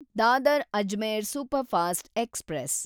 Dadar Ajmer superfast express